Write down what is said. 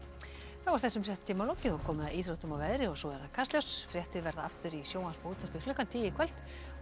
þessum fréttatíma er lokið og komið að íþróttum og veðri og svo Kastljósi fréttir verða aftur í sjónvarpi og útvarpi klukkan tíu í kvöld en